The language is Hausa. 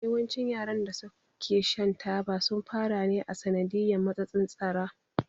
Yawancin yaran da su ke shan taba sun fara ne a sanadiyan matsatsin tsara